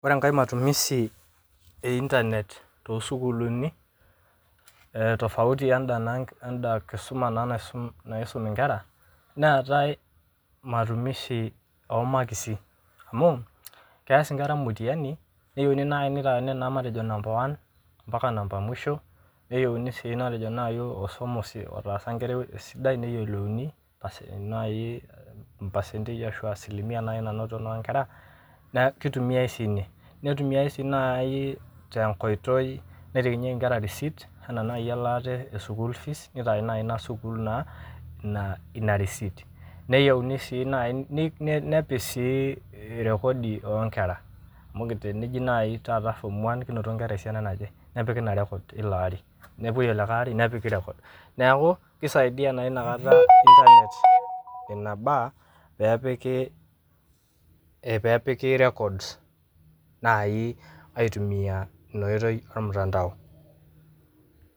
Kore enkae matumizi e internet to sukulini ee tofauti oo enda ee enda nkisuma naa naisum inkera, neatae matumizi oo makisi, amuu keas inkera mutiyani neyeuni naii neitaini naii matejo kutoka number one mpaka number mwisho, neyeuni sii matejo nai metejo ososmosi otaasa inkerai sidai neyiolouni mpasentei ashu asilimia naii nanoto naa inkera, naaku keitumiya oshi ina. Keitumiya sii nai te nkoitoi naitakinyeki inkera receipt anaa iye elaatae school fees neitakini naa ina sukul naa ina receipt, neyeuni naa sii naii nepik sii rekodi oo inkera, amu teneji taata nai form one kinotito esiana naje, nepiki ina record eilo lari, nepoi ilikae lari nepiki record naaku keisaidiya naa inakata nebaa peepiki records naii aitumiya ina oitpi e mutandao.